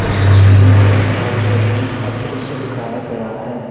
इस तस्वीर में एक हेयर सैलून का दृश्य दिखाया गया है।